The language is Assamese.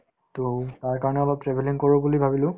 to তাৰ কাৰণে অলপ travelling কৰো বুলি ভাবিলো